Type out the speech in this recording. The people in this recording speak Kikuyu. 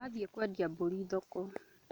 Athiĩ kũendia mbũri thoko